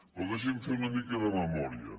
però deixi’m fer una mica de memòria